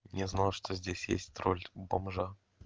не знал что здесь есть роль бомжа